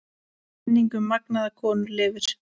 Minning um magnaða konu lifir.